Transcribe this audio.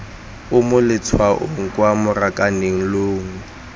o mo letshwaong kwa marakanelong